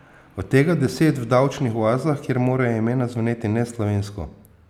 Od tega deset v davčnih oazah, kjer morajo imena zveneti neslovensko.